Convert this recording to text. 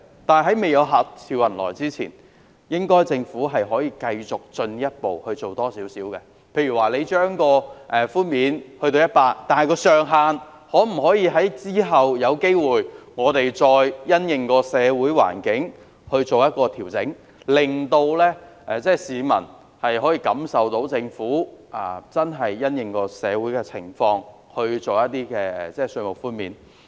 但是，未做到客似雲來之前，政府可以繼續多做一點，例如把寬免比率提高至 100% 後，可以考慮因應社會環境再調整上限，令市民感受到政府真的因應社會情況而提供稅務寬免。